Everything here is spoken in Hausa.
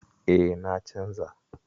E, na canza.